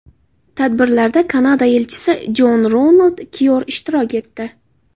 Tadbirlarda Kanada elchisi Jon Ronald Kyor ishtirok etdi.